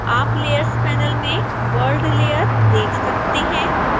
आप layers panel में world layer देख सकते हैं